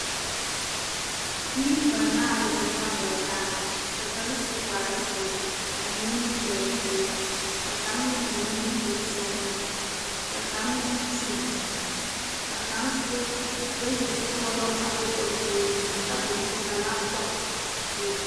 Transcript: Bibiiri banaare zeŋ la kɔŋ taa ka kaŋ su kpare ziɛ a eŋ nimigel peɛle ka kaŋa meŋ eŋ nimigel sɔglaa ka kaŋ meŋ Kyuule ka kaŋ soba bayi zukɔlo be ba puori ka tabol zu ka lantoɔ a bebe.